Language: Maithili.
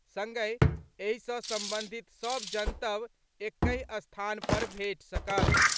संगहि एहि सँ संबंधित सभ जनतब एकहि स्थान पर भेटि सकत।